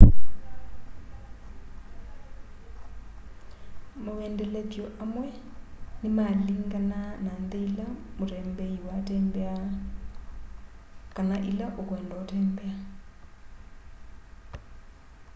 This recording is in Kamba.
mawendelethyo amwe nĩmalĩnganaa na nthĩ ĩla mũtembeĩ waatembea kana ĩla ũkwenda kũtembea